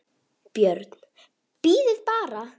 BJÖRN: Bíðið bara!